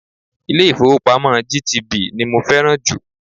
Ilé-ifowopamo GTB ni mo fẹ́ràn jù.